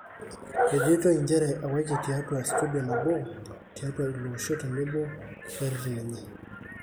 Ejoitoi njere ewaki tiatua studio nabo tiatua ilo olosho tenebo wereten enye.